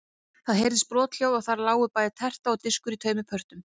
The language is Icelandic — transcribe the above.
Það heyrðist brothljóð og þarna lágu bæði terta og diskur í tveimur pörtum.